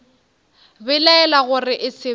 belaela gore e se be